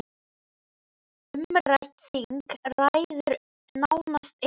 Umrætt þing ræður nánast engu.